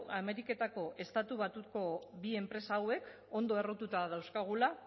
ameriketako estatu batuetako bi enpresa hauek ondo errotuta dauzkagula